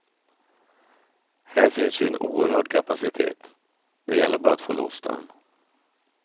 Här finns ju en oerhörd kapacitet, det gäller bara att få loss den.